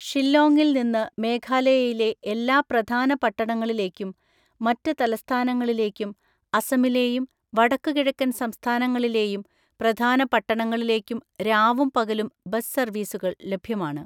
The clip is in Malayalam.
ഷില്ലോങ്ങിൽ നിന്ന് മേഘാലയയിലെ എല്ലാ പ്രധാന പട്ടണങ്ങളിലേക്കും മറ്റ് തലസ്ഥാനങ്ങളിലേക്കും അസമിലെയും വടക്കുകിഴക്കൻ സംസ്ഥാനങ്ങളിലെയും പ്രധാന പട്ടണങ്ങളിലേക്കും രാവും പകലും ബസ് സർവീസുകൾ ലഭ്യമാണ്.